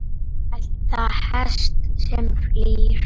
elta hest sem flýr